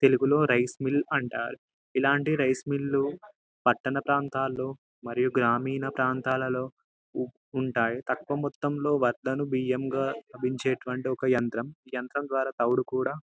తెలుగు లో rice mill అంటారు ఇలాంటి రైస్ మిల్ లు పట్టాన ప్రాంతాలలో మరియు గ్రామీణ ప్రాంతాలలో ఉంటాయి తక్కువ మొత్తం లో వడ్లను బియ్యముగా మార్చేటటువంటి యంత్రం ఈ యంత్రం లో తవుడు కూడా --